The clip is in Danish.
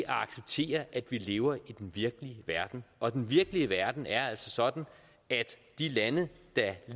acceptere at vi lever i den virkelige verden og den virkelige verden er altså sådan at de lande der